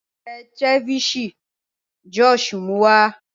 Mo n jẹ̀ ceviche Josh mú wa.